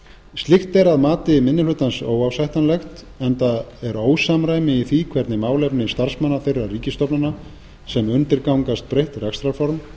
slíkt er óásættanlegt að mati minni hlutans enda er ósamræmi í því hvernig málefni starfsmanna þeirra ríkisstofnana sem undirgangast breytt rekstrarform